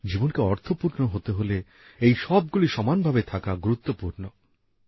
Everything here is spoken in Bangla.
জীবনকে অর্থপূর্ণ হতে হলে এই সবগুলি সমানভাবে থাকা গুরুত্বপূর্ণ